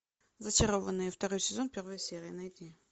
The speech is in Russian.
зачарованные второй сезон первая серия найди